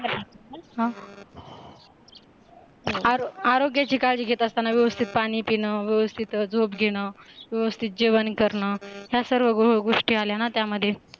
आरोग्याची काळजी घेत असताना व्यवस्थित पाणी पिण व्यवस्थित झोप घेण व्यवस्थित जेवण करणं या सर्व गोष्टी आल्या ना त्यामध्ये